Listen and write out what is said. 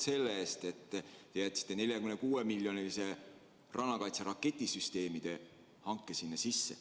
Me oleme tänulikud, et te jätsite 46 miljoni eurose rannakaitse raketisüsteemide hanke sinna sisse.